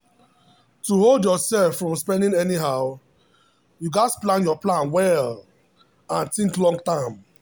to hold yourself from spending anyhow you gats plan your plan well and think long term.